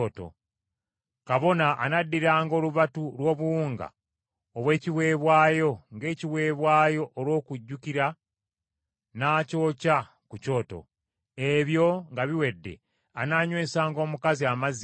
Kabona anaddiranga olubatu lw’obuwunga obw’ekiweebwayo ng’ekiweebwayo olw’okujjukira n’akyokya ku kyoto; ebyo nga biwedde anaanywesanga omukazi amazzi gali.